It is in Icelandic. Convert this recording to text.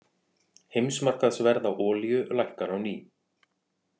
Heimsmarkaðsverð á olíu lækkar á ný